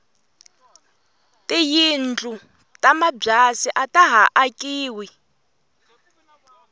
tiyindlu ta mabyasi ataha akiwi